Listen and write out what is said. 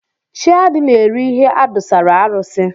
Chiadi na-eri ihe adụsara arụsị.